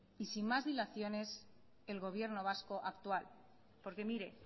y sin más dilaciones el gobierno vasco actual porque mire